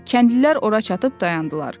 Kəndlilər ora çatıb dayandılar.